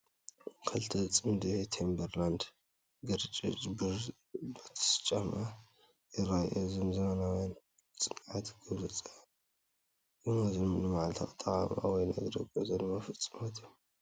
ክልተ ጽምዲ ቲምበርላንድ ግራጭ ቡትስ ጫማ ይረአዩ ። ኣዝዮም ዘመናውያን፡ ጽኑዓትን ግብራውያንን ይመስሉ፡ ንመዓልታዊ ኣጠቓቕማ ወይ ንእግሪ ጉዕዞ ድማ ፍጹማት እዮም።